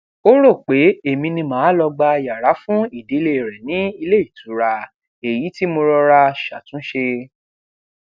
ó rò pé èmi ni màá lọ gba yàrá fún ìdílé rẹ ní ilé ìtura èyí tí mo rọra ṣàtúnṣe